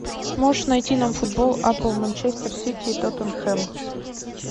можешь найти нам футбол апл манчестер сити и тоттенхэм